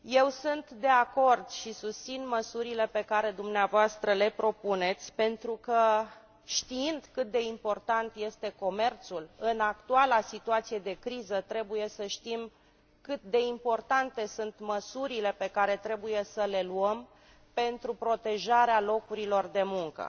Sunt de acord și susțin măsurile pe care dumneavoastră le propuneți pentru că, știind cât de important este comerțul în actuala situație de criză, trebuie să știm cât de importante sunt măsurile pe care trebuie să le luăm pentru protejarea locurilor de muncă.